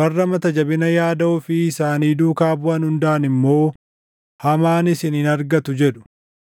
Warra mata jabina yaada ofii isaanii duukaa buʼan hundaan immoo, ‘Hamaan isin hin argatu’ jedhu.